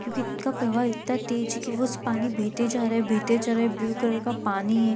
क्योंकि इसका प्रभाव इतना तेज है कि वो उस पानी बेहते जा रहा है बेहते जा रहा है ब्लू कलर का पानी --